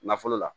Nafolo la